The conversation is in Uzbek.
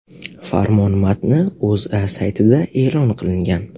Farmon matni O‘zA saytida e’lon qilingan .